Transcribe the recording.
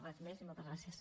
res més i moltes gràcies